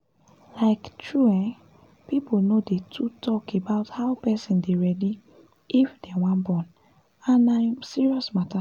um true[um]people no dey too talk about how person dey readyl if dem wan born and na um serious matter